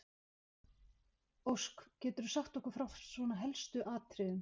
Ósk, geturðu sagt okkur frá svona helstu atriðum?